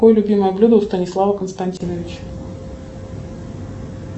какое любимое блюдо у станислава константиновича